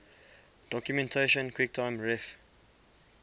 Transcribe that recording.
documentation quicktime ref